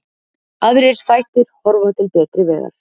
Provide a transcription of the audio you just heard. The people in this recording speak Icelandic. Aðrir þættir horfa til betri vegar